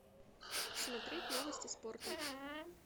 смотреть новости спорта